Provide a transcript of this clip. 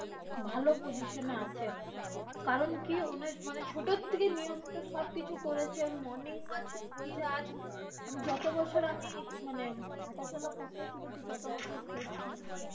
ভালো position এ আছে। কারণ কি উনার মানে ছোটর থেকে নিয়মিত সবকিছু করেছে morning work হয়েছে। যত বছর আমি হাটা-চলা করতে শুনেছি তত বছর।